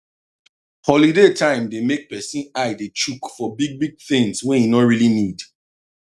holiday time dey make person eye dey chook for big big things wey e no really need